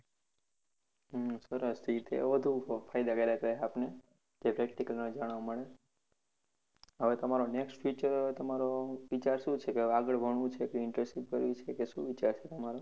હા સરસ એ વધુ ફાયદાકારક રે આપણને જે practical માં જાણવા મળે હવે તમારો next future વિચાર શું છે તમારો આગળ ભણવું છે કે internship કરવી છે કે શું વિચાર છે તમરો